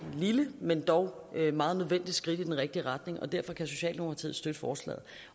lille men dog meget nødvendigt skridt i den rigtige retning og derfor kan socialdemokratiet støtte forslaget